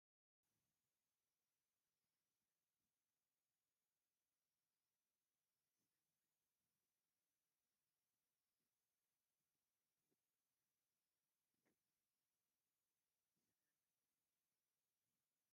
ኣርተፊሻል ፅፍሪ ቀለም ተቐቢኡ ይርአ ኣሎ፡፡ ስብ ካብ ፅፍሪ እግሩ እስካብ ጫፍ ርእሱ ብጭንቂ ዝተወጠረ እዩ፡፡ ንኣብነት ስለ ፅፍሪ ኢዱ እስካብ ክንድዚ ክጭነቕ ግቡእ ድዩ?